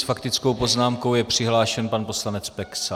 S faktickou poznámkou je přihlášen pan poslanec Peksa.